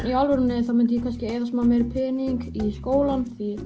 í alvörunni þá myndi ég kannski eyða smá meiri pening í skólann því